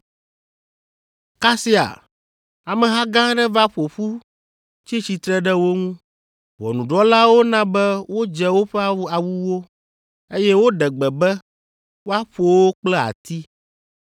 Kasia, ameha gã aɖe va ƒo ƒu tsi tsitre ɖe wo ŋu. Ʋɔnudrɔ̃lawo na be wodze woƒe awuwo, eye woɖe gbe be woaƒo wo kple ati.